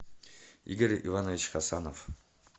игорь иванович хасанов